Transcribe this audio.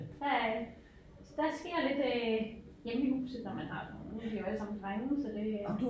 Der øh så der sker lidt øh hjemme i huset når man har dem og nu er de jo alle sammen drenge så det øh